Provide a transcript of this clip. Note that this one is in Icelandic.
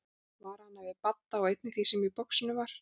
Vara hana við Badda og einnig því sem í boxinu var.